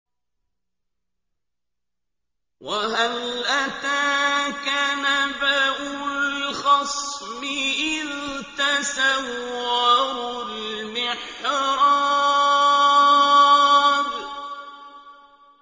۞ وَهَلْ أَتَاكَ نَبَأُ الْخَصْمِ إِذْ تَسَوَّرُوا الْمِحْرَابَ